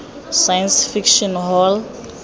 science fiction hall